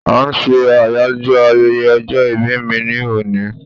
a n se Ayajo ayẹyẹ ọjọ ìbí mi ni oni